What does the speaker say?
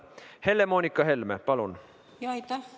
Helle-Moonika Helme, palun!